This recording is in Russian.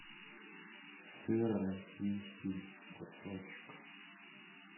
сыр российский кусочек